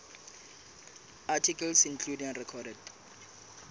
articles including recorded